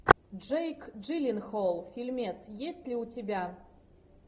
джейк джилленхол фильмец есть ли у тебя